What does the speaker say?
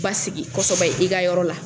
basigi kosɛbɛ i ka yɔrɔ la.